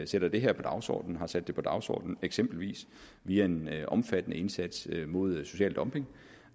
sætter det her på dagsordenen og har sat det på dagsordenen eksempelvis via en omfattende indsats mod social dumping